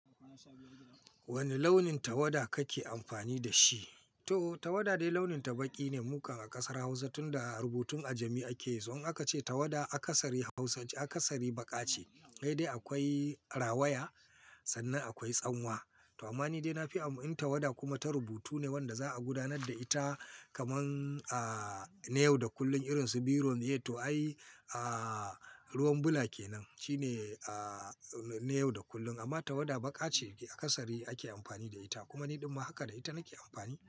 Wani launin tawada kake amfani da shi? To tawada dai launin ta baƙi ne. Mukan a ƙasar Hausa tun da rubutun a jami ake so. An ka ce tawada a ƙasarin Hausa a ƙasari baƙa ce. Sai dai akwai rawaya sannan akwai tsanwa. To amma ni dai na fi amfani tawada kuma ta rubutu ne wanda za a gudanar da ita kamar, ah, ne yau da kullum irin su biro ne. To ai, ah, ruwan bula ke nan. Shi ne, ah, na yau da kullum. Amma tawada baƙa ce a kasari ake amfani da ita. Kuma ni ɗumma haka da ita nake amfani.